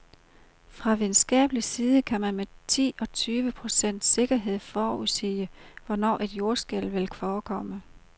Fra videnskabelig side kan man med ti til tyve procents sikkerhed forudsige, hvornår et jordskælv vil forekomme.